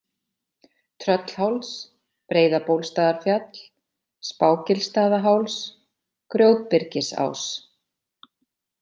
Tröllháls, Breiðabólstaðarfjall, Spágilsstaðaháls, Grjótbyrgisás